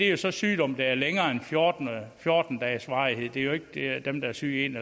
er så sygdom der er længere end af fjorten dages varighed det er jo ikke dem der er syge i en